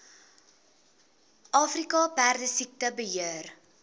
afrika perdesiekte beheer